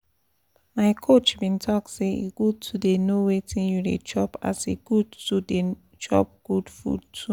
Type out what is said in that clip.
my coach been talk say e good to dey know wetin you dey chop as e good to dey chop good food too